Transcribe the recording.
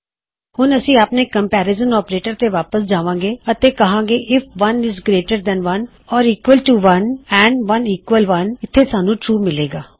ਹੁਣ ਅਸੀਂ ਆਪਣੇ ਕੰਮਪੇਰਿਜਨ ਆਪਰੇਟਰਜ਼ ਤੇ ਵਾਪਸ ਜਾਵਾਂਗੇ ਅਤੇ ਕਹਾਂਗੇ IF 1 is greater than 1 or equal to 1 and 1 equal 1 ਇਥੇ ਸਾਨੂੰ ਟਰੂ ਮਿਲੇਗਾ